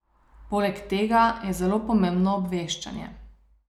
Poleg tega je zelo pomembno obveščanje.